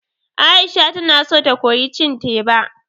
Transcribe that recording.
Aisha tana so ta koyi cin teba